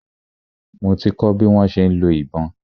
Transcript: Mo ti kọ́ bi wọ́n ṣe ń lo ìbọn.